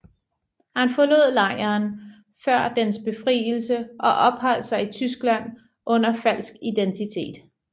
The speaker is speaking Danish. Han forlod lejren før dens befrielse og opholdt sig i Tyskland under falsk identitet